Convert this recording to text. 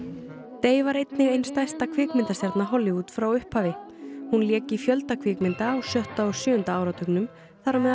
Day var einnig ein stærsta kvikmyndastjarna Hollywood frá upphafi hún lék í fjölda kvikmynda á sjötta og sjöunda áratugnum þar á meðal